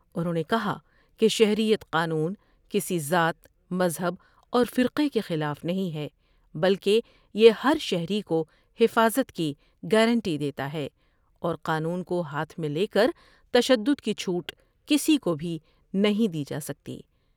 انہوں نے کہا کہ شہریت قانون کسی ذات ، مذہب اور فرقے کے خلاف نہیں ہے بلکہ یہ ہر شہری کو حفاظت کی گارنٹی دیتا ہے اور قانون کو ہاتھ میں لیکر تشدد کی چوٹ کسی کو بھی نہیں دی جاسکتی ۔